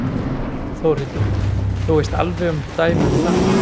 Þórhildur: Þú veist alveg um dæmi um það?